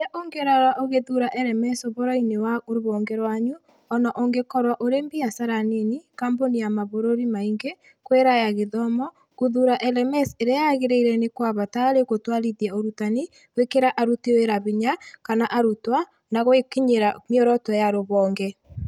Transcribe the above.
"kĩrĩa ũngĩrora ũgĩthuura LMS ũhoro-inĩ wa rũhonge rwanyu ona ũngĩkorũo ũrĩ biacara nini, kambuni ya mabũrũri maingĩ, kwĩraya gĩthomo, gũthuura LMS ĩrĩa yagĩrĩire nĩ kwa bata harĩ gũtũarithia ũrutani, gwĩkĩra aruti wĩra hinya, kana arutwo, na gũkinyĩra mĩoroto ya rũhonge".